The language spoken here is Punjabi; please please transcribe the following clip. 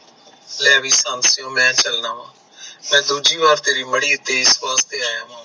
ਲੈ ਵੀ ਸਿਯੋ ਮੈਂ ਚਲਦਾ ਹਾਂ, ਮੈਂ ਦੂਜੀ ਵਰ ਤੇਰੀ ਮੜੀ ਦੇਣ ਵਸਤੇ ਅਯਾਂ ਵਾ